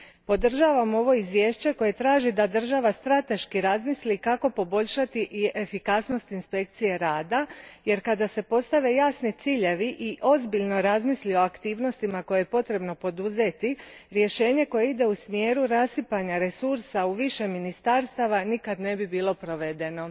Podržavam ovo izvješće koje traži da država strateški razmisli kako poboljšati efikasnost inspekcije rada jer kada se postave jasni ciljevi i ozbiljno razmisli o aktivnostima koje je potrebno poduzeti, rješenje koje ide u smjeru rasipanja resursa u više ministarstava nikad ne bi bilo provedeno.